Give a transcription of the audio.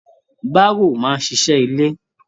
Baro máa n ṣiṣẹ ilé.